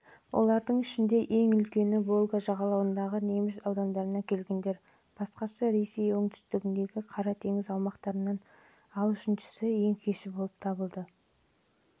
олардың ішіндегі ең үлкені волга жағалауындағы неміс аудандарынан келгендер басқасы ресей оңтүстігіндегі қаратеңіз аймақтарынан ал үшіншісі ең кеші